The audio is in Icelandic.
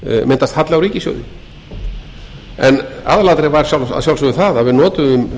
myndast halli á ríkissjóði en aðalatriðið var að sjálfsögðu það að við notuðum